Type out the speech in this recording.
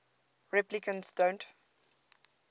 replicants don't